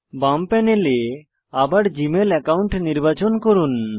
বাম প্যানেলে আবার জিমেইল অ্যাকাউন্ট নির্বাচন করুন